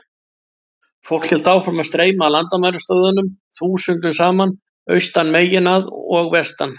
Fólk hélt áfram að streyma að landamærastöðvunum þúsundum saman, austan megin að og vestan.